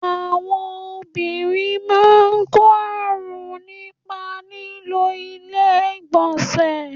Àwọn obìnrin máa ń kọ́ àrùn nípa lílo ilé ìgbọ̀nsẹ̀.